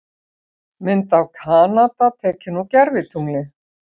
Mynd af Kanada tekin úr gervitungli.